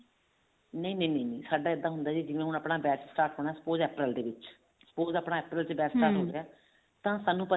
ਨਹੀ ਨਹੀਂ ਸਾਡਾ ਇੱਦਾਂ ਹੁੰਦਾ ਹੁਣ ਆਪਣਾ batch start ਹੋਣਾ April ਦੇ ਵਿੱਚ suppose ਆਪਣਾ April ਦੇ ਵਿੱਚ ਤਾਂ ਸਾਨੂੰ